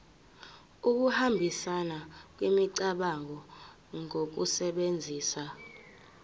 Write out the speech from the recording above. ukuhambisana kwemicabango ngokusebenzisa